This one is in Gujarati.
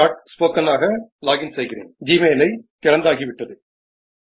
રેકોર્ડીંગ શરુ થાય છે